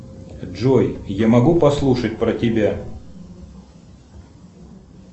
джой я могу послушать про тебя